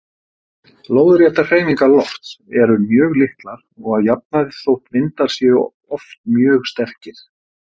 Lóðréttar hreyfingar lofts eru mjög litlar að jafnaði þótt vindar séu oft mjög sterkir.